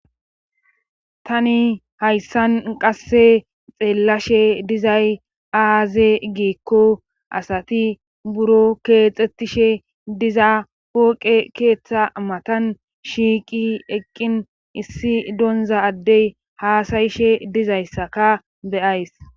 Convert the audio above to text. tani hayssan qasse xeellashe dizay aaze giikko asati buro keexxetishe diza pooqe keeththa matan shiiqi eqqin issi donza addey haasayishe dizayssaka beyays